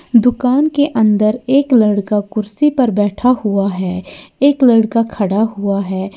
दुकान के अंदर एक लड़का कुर्सी पर बैठा हुआ है एक लड़का खड़ा हुआ है।